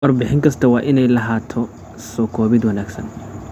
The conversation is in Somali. Warbixin kasta waa inay lahaataa soo koobid wanaagsan.